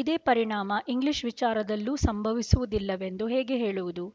ಇದೇ ಪರಿಣಾಮ ಇಂಗ್ಲೀಷ್ ವಿಚಾರದಲ್ಲೂ ಸಂಭವಿಸುವುದಿಲ್ಲವೆಂದು ಹೇಗೆ ಹೇಳುವುದು